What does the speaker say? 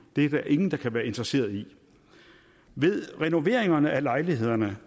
det er der ingen der kan være interesseret i ved renoveringerne af lejlighederne